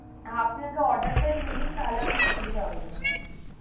আপনি আগে order তা নিয়ে নিন তাহলে আপনার সুভিদা হয়ে যাবে আর কি.